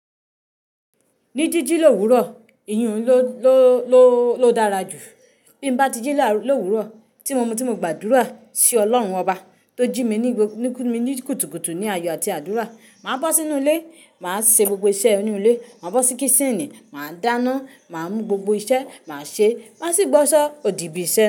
Ní jíjí lówurọ̀, ìyùn ló, ló, ló, ló dára jù. Bí mo bá tí jí lówurọ̀, tí mo mọ̀ tí mo gbàdúrà sí Ọlọ́run ọba tó jí mi ní, kú mi ní kùtùkùtù ní ayọ̀ àti àdúrà. Màá bọ́ sínú ilé, màá ṣe gbogbo iṣẹ́ inú ilé, màá bọ́ sí kísìnì, màá dáná, màá mú gbogbo iṣẹ́, màá ṣe, màá sì wo asọ òdì bí iṣẹ́